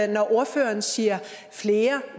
når ordføreren siger flere